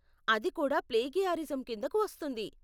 అది కూడా ప్లేగియారిజం కిందకు వస్తుంది.